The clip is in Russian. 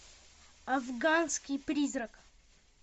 афганский призрак